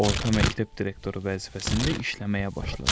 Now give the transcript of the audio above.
Orta məktəb direktoru vəzifəsində işləməyə başladı.